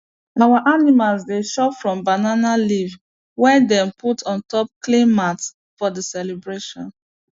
our animals dey chop from banana leave wey them put on top clean mats for the celebration